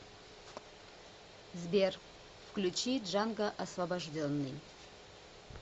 сбер включи джанго освобожденный